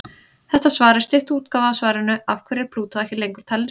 Þetta svar er stytt útgáfa af svarinu Af hverju er Plútó ekki lengur talin reikistjarna?